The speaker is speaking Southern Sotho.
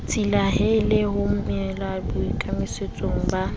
tsitlallela ho emela boikemisetso ba